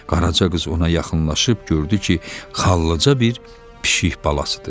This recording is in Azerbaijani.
Qaraca qız ona yaxınlaşıb gördü ki, xallıca bir pişik balasıdır.